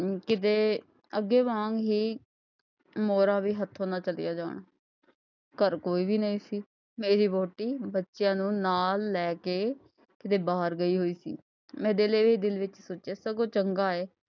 ਅੱਗੇ ਜਾਣ ਲਈ ਮੋਹਰਾਂ ਵੀ ਹੱਥੋਂ ਨਾ ਚੱਲੀਆਂ ਜਾਣ ਘਰ ਕੋਈ ਵੀ ਨਹੀਂ ਸੀ, ਮੇਰੀ ਵਹੁਟੀ ਬੱਚਿਆਂ ਨੂੰ ਨਾਲ ਲੈ ਕੇ ਕਿਤੇ ਬਾਹਰ ਗਈ ਹੋਈ ਸੀ ਮੈਂ ਦਿਲ ਹੀ ਦਿਲ ਵਿੱਚ ਸੋਚਿਆ ਸਗੋਂ ਚੰਗਾ ਹੋਇਆ,